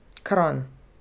Kranj.